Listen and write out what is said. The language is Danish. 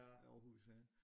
Aarhus ja